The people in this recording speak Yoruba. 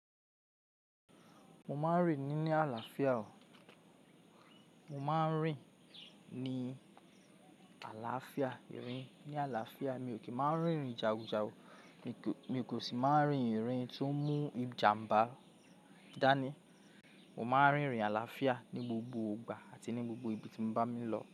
Mo máa ń rìn ní àlàáfíà o. Mo máa ń rìn ní àlàáfíà, rìn ní àlàáfíà. Mi ò kí ń máa ń rìn jagunjagun, mi kò sì máa ń rìn rìn tó mú ìjàmbá dání. Mo máa ń rìn àlàáfíà ní gbogbo ìgbà àti ní gbogbo ibi tí bá mi lọ.